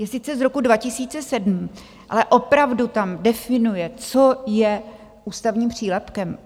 Je sice z roku 2007, ale opravdu tam definuje, co je ústavním přílepkem.